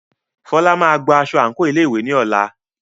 Fola máa gba aṣọ àǹkóò ilé ìwé ní ọ̀la.